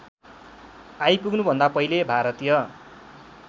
आइपुग्नुभन्दा पहिले भारतीय